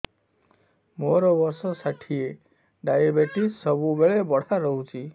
ମୋର ବର୍ଷ ଷାଠିଏ ଡାଏବେଟିସ ସବୁବେଳ ବଢ଼ା ରହୁଛି